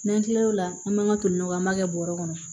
N'an tilal'o la an b'an ka toliw kɛ an b'a kɛ bɔrɔ kɔnɔ